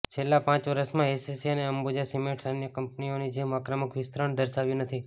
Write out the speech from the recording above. છેલ્લાં પાંચ વર્ષમાં એસીસી અને અંબુજા સિમેન્ટ્સે અન્ય કંપનીઓની જેમ આક્રમક વિસ્તરણ દર્શાવ્યું નથી